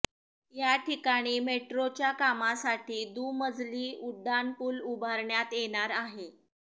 या ठिकाणी मेट्रोच्या कामासाठी दुमजली उड्डाणपूल उभारण्यात येणार आहे